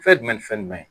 Fɛn jumɛn ni fɛn jumɛn ye